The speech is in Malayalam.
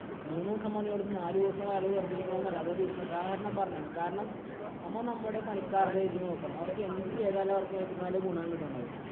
മൂന്ന് ദിവസം പണിയെടുത്ത് നാലുദിവസം വെറുതെ ഇരിക്കണമെന്നില്ല. ഉദാഹരണം പറഞ്ഞേ ആണ്. കാരണം, നമ്മ നമ്മുടെ പണിക്കാരുടെ ഇത് നോക്കണം. അവര്‍ക്ക് എന്തു ചെയ്താലാ അവര്‍ക്ക് നല്ല ഗുണം കിട്ടണത്.